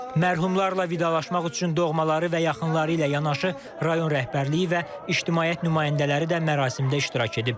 Mərhumlarla vidalaşmaq üçün doğmaları və yaxınları ilə yanaşı rayon rəhbərliyi və ictimaiyyət nümayəndələri də mərasimdə iştirak edib.